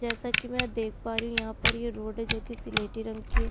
जैसा कि मैं यहाँ देख पा रही हूँ यहाँ पर ये रोड है जो की सिलेटी रंग की है।